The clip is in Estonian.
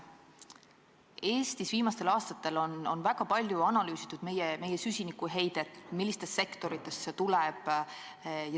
Eestis on viimastel aastatel väga palju analüüsitud meie süsinikuheidet, seda, millistest sektoritest see tuleb.